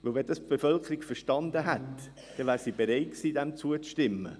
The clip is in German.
Wenn die Bevölkerung das verstanden hätte, wäre sie bereit gewesen, zuzustimmen.